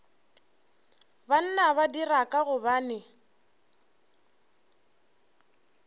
banna ba dira ka gobane